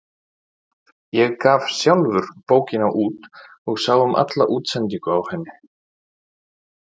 Ég gaf sjálfur bókina út og sá um alla útsendingu á henni.